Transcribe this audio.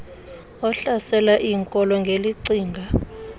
ohlasela iinkolo ngelicinga